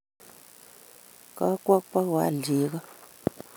Kakwo bugoal cheko